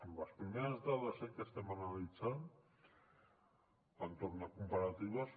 amb les primeres dades que estem analitzant entorn de comparatives